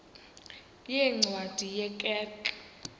yeencwadi ye kerk